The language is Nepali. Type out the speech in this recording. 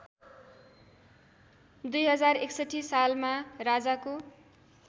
२०६१ सालमा राजाको